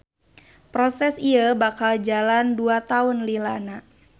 Proses ieu bakal jalan dua taun lilana